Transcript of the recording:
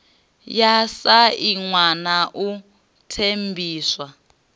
ya sainwa na u ṱempiwa